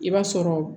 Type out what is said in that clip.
I b'a sɔrɔ